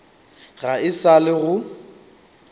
ga e sa le go